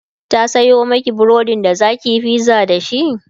ta Sayo Maki burodin da zakiyi pizza dashi?